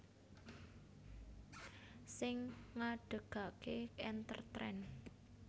Sing ngadhegake EnterTrend